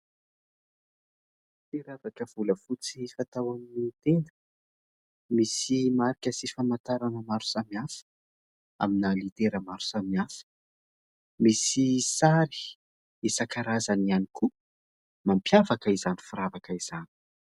Firavaka volafotsy fatao amin'ny tenda, misy marika sy famantarana maro samihafa amina litera maro samihafa. Misy sary isankarazany ihany koa mampiavaka izany firavaka izany.